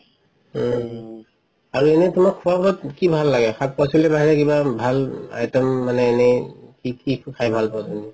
উম আৰু এনে তুমাৰ খুৱা বুৱাত কি ভাল লাগে শাক পাচলি ভাল বাহিৰে কিবা ভাল item মানে এনে কি কি খাই ভাল পোৱা তুমি